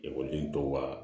Ekɔliden dɔw ka